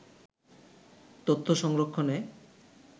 তথ্য সংরক্ষনে